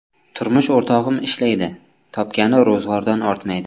Turmush o‘rtog‘im ishlaydi, topgani ro‘zg‘ordan ortmaydi.